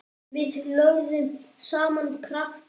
Við lögðum saman krafta okkar.